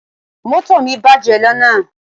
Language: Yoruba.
Moto mi baje lana